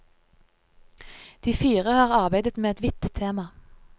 De fire har arbeidet med et vidt tema.